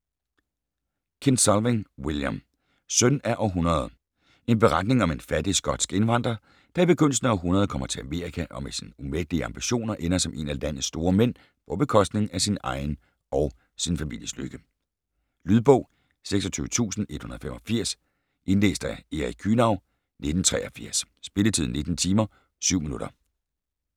Kinsolving, William: Søn af århundredet En beretning om en fattig skotsk indvandrer, der i begyndelsen af århundredet kommer til Amerika og med sine umættelige ambitioner ender som en af landets store mænd på bekostning af sin egen og sin families lykke. Lydbog 26185 Indlæst af Erik Kühnau, 1983. Spilletid: 19 timer, 7 minutter.